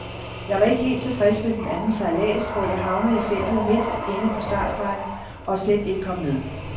Jeg var ikke helt tilfreds med den anden sejlads, hvor jeg havnede i feltet midt inde på startstregen, og slet ikke kom med.